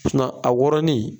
a wɔrɔnnen.